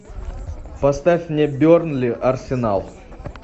поставь мне бернли арсенал